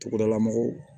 Togodala mɔgɔw